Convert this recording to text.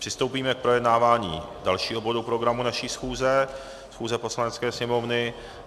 Přistoupíme k projednávání dalšího bodu programu naší schůze, schůze Poslanecké sněmovny.